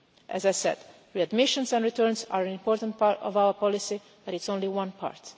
As I said, readmissions and returns are an important part of our policy, but it is only one part.